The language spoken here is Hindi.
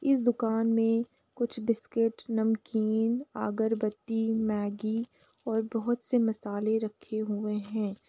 इस दुकान में कुछ बिस्किट नमकीन अगरबत्ती मैगी और बहोत से मसाले रखे हुए हैं।